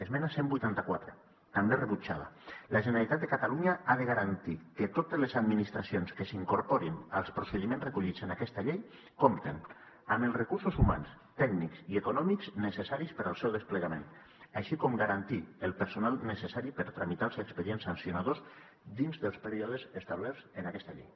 esmena cent i vuitanta quatre també rebutjada la generalitat de catalunya ha de garantir que totes les administracions que s’incorporin als procediments recollits en aquesta llei compten amb els recursos humans tècnics i econòmics necessaris per al seu desplegament així com garantir el personal necessari per tramitar els expedients sancionadors dins dels períodes establerts en aquesta llei